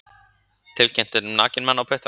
Tilkynnt um nakinn mann á puttanum